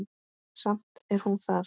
Samt er hún þar.